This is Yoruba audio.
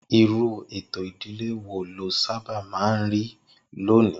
Irú ètò ìdílé wo ló sábà máa ń rí lónìí?